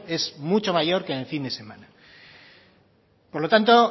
es mucho mayor que en el fin de semana por lo tanto